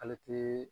Ale te